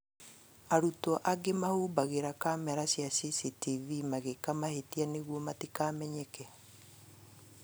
Arutwo angĩ mahumbagĩra kamera icio cia CCTV magĩka mahĩtia nĩguo matikamenyeke